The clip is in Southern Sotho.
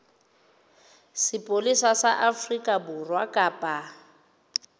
sepolesa sa afrika borwa kapa